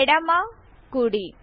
ఎడమ కుడి